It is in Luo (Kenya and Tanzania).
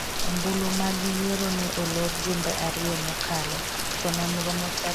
ombulu mag yiero ne olor jumbe ariyo mokalo to nonro motelo ne nyiso ni riwruokno mar Berlusconi ne nigi thuolo mar locho.